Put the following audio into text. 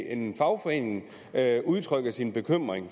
en fagforening udtrykker sin bekymring